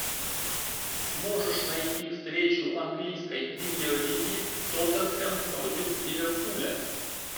можешь найти встречу английской премьер лиги тоттенхэм против ливерпуля